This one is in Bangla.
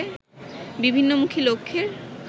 বিভিন্নমুখী লক্ষ্যের